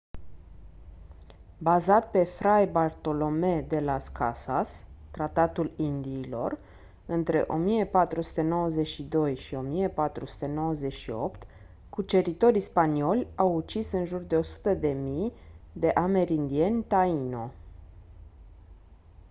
bazat pe fray bartolomé de las casas tratatul indiilor între 1492 și 1498 cuceritorii spanioli au ucis în jur de 100.000 de amerindieni taino